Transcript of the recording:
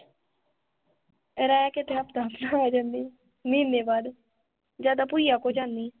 ਰਹਿਕੇ ਤੇ ਹਫਤਾ ਹਫਤਾ ਆ ਜਾਂਦੀ ਮਹੀਨੇ ਬਾਅਦ ਜ਼ਿਆਦਾ ਭੁਇਆ ਕੋਲ ਜਾਂਦੀ